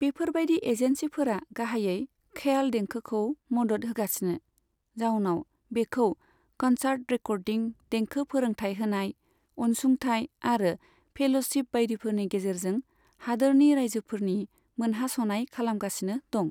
बेफोरबायदि एजेन्सिफोरा गाहायै ख्याल देंखोखौ मदद होगासिनो, जाउनाव बेखौ कनसा्र्ट, रेकर्डिं, देंखो फोरोंथाय होनाय, अनसुंथाय आरो फेल'शिप बायदिफोरनि गेजेरजों हादोरनि रायजोफोरनि मोनहास'नाय खालामगासिनो दं।